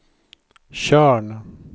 Tjörn